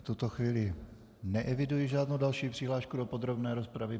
V tuto chvíli neeviduji žádnou další přihlášku do podrobné rozpravy.